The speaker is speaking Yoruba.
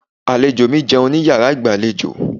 Àlejò mi jẹun ní yàrá ìgbàlejò.